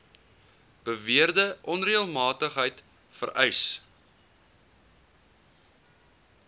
beweerde onreëlmatigheid vereis